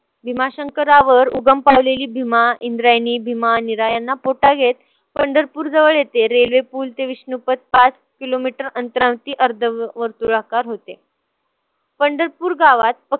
भिमाशंकरावर उगम पावलेली भीमा, इंद्रायणी भीमा निराळयांना घेत पंढरपूरजवळ येथे railway पूल ते विष्णुपथ पाच kilometer अंतरावरती अर्धवर्तुळाकार होते. पंढरपूर गावात